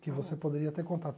Que você poderia ter contato.